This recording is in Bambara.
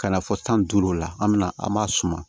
Ka na fɔ san duuru la an mi na an b'a suma